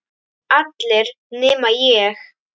Allir nema ég.